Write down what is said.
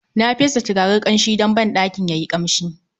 Na fesa turaren kamshin don banɗakin yayi kamshi